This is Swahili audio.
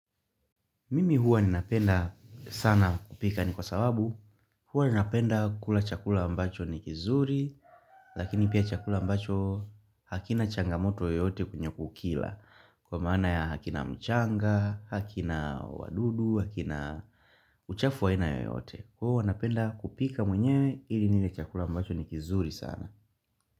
Mimi huwa ninapenda sana kupika ni kwa sababu Huwa ninapenda kula chakula ambacho ni kizuri Lakini pia chakula ambacho hakina changamoto yoyote kwenye kukila Kwa maana ya hakina mchanga, hakina wadudu, hakina uchafu wa aina yoyote Huwa napenda kupika mwenyewe ili nile chakula ambacho ni kizuri sana.